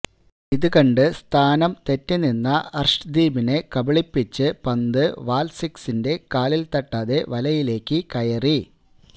ഇതുകണ്ട് സ്ഥാനം തെറ്റി നിന്ന അർഷ്ദീപിനെ കബിളിപ്പിച്ച് പന്ത് വാൽസ്കിസിന്റെ കാലിൽ തട്ടാതെ വലയിലേക്ക് കയറി